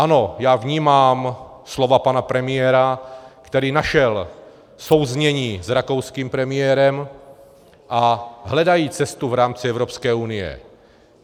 Ano, já vnímám slova pana premiéra, který našel souznění s rakouským premiérem, a hledají cestu v rámci Evropské unie.